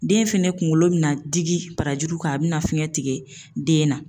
Den fɛnɛ kungolo bina digi barajuru kan a bina fiɲɛ tigɛ den na